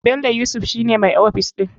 Bello yusuf shi ne mai ofis ɗin.